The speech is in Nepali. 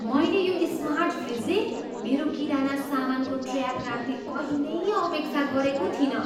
मैले यो स्मार्ट फ्रिजले मेरो किराना सामानको ट्रयाक राख्ने कहिल्यै अपेक्षा गरेको थिइनँ।